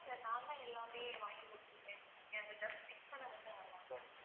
இல்ல sir நான் தான் எல்லாமே வாங்கி குடுக்குறேன்னு சொல்லிருக்கேன் அவுங்க just fix பண்ண மட்டும் வருவாங்க.